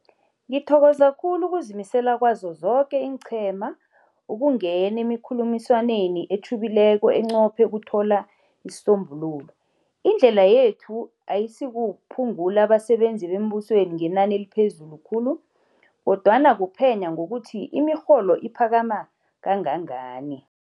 Ngithokoza khulu ukuzimisela kwazo zoke iinqhema ukungena emikhulumiswaneni etjhubileko enqophe ukuthola isisombululo. Indlela yethu ayisikuphungula abasebenzi bembusweni ngenani eliphezulu khulu, kodwana kuphenya ngokuthi imirholo iphakama kangangani.